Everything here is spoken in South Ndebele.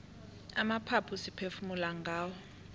amaphaphu siphefumula ngawo